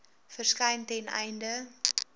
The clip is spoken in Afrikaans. verskyn ten einde